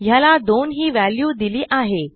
यास दोन ही व्हॅल्यू दिली आहे